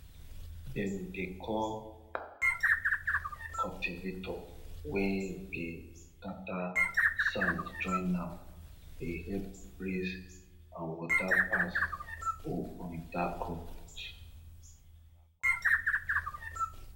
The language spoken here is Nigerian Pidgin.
dem dey call cultivator wey dey scatter sand join am dey help breeze and water pass go under crop root